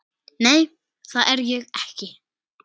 Nei, það er ég ekki.